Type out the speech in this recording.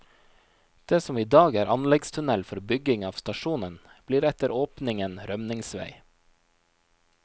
Det som i dag er anleggstunnel for bygging av stasjonen, blir etter åpningen rømningsvei.